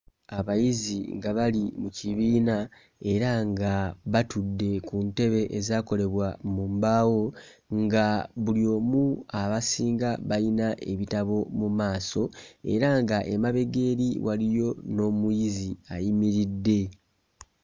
Abayizi nga bali mu kibiina era nga batudde ku ntebe ezaakolebwa mu mbaawo nga buli omu abasinga bayina ebitabo mu maaso era nga emabega eri waliyo n'omuyizi ayimiridde.